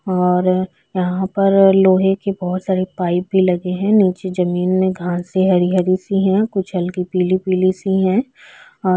और यहाँ पर लोहे की बोहोत सारी पाईप भी लगे हैं नीचे जमीन में घास है हरी-हरी सी है कुछ हल्की पीली-पीली सी हैं और--